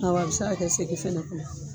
Awɔ a bɛ se a kɛ segi fana kɔnɔ